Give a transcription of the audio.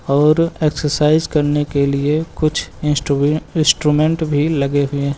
और एक्सरसाइज करने के लिए कुछ इंस्ट्रू इंस्ट्रूमेंट भी लगे हुए हैं।